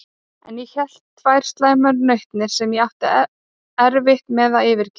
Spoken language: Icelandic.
En ég hélt tvær slæmar nautnir, sem ég átti erfitt með að yfirgefa.